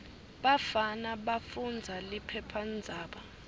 bafana bafundza liphephandzaba